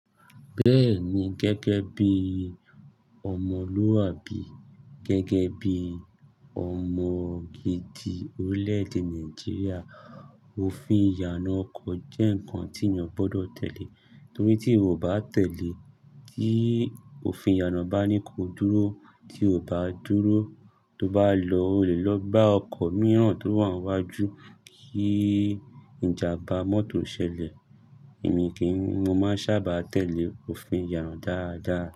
Bẹ́ẹ̀ni gẹ́gẹ́ bí ọmọlúàbí, gẹ́gẹ́ bí ọmọ gidi orílẹ̀-èdè Nàìjíríà, òfin ìyànà ọkọ̀ jẹ́ nǹkan tí èèyàn gbọdọ̀ tẹ̀lé, torí tí o ò bá tẹ̀lé, tí òfin ìyànà bá ní ko dúró, tí o ò bá dúró, tó bá lọ, o lè lọ gbá ọkọ̀ mìíràn tó wà níwájú kí ìjàmbá mọ́tò ṣẹlẹ̀. Èmi kí n, mo máa n sábà tẹ̀lé òfin ìyànà dáadáa.